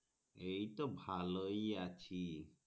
এই তো ভালোই আছি